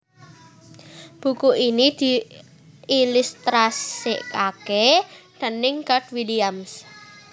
Buku iki diilustrasèkaké déning Garth Williams